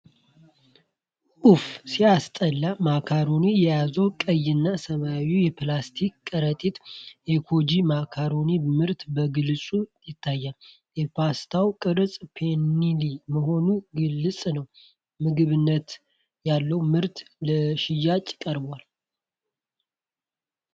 ኡፍ ሲያስጠላ! ማካሮኒ የያዘ ቀይና ሰማያዊ የፕላስቲክ ከረጢት። የኮጂ ማካሮኒ ምርት በግልጽ ይታያል። የፓስታው ቅርፅ ፔንኔ መሆኑ ግልጽ ነው። ምግብነት ያለው ምርት ለሽያጭ ቀርቧል።